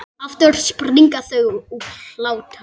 Aftur springa þau úr hlátri.